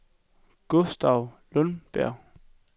Gustav Lundberg